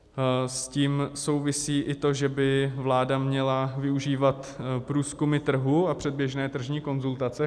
S tím souvisí i to, že by vláda měla využívat průzkumy trhu a předběžné tržní konzultace.